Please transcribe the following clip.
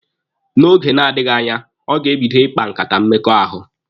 N'oge na-adịghi anya, ọ ga-ebido ikpa nkata mmekọahụ.